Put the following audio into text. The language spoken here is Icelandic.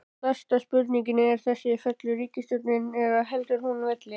Stærsta spurningin er þessi, fellur ríkisstjórnin eða heldur hún velli?